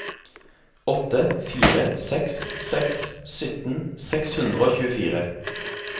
åtte fire seks seks sytten seks hundre og tjuefire